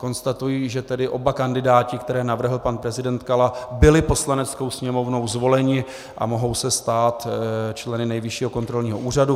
Konstatuji, že tedy oba kandidáti, které navrhl pan prezident Kala, byli Poslaneckou sněmovnou zvoleni a mohou se stát členy Nejvyššího kontrolního úřadu.